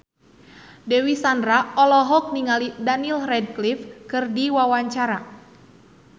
Dewi Sandra olohok ningali Daniel Radcliffe keur diwawancara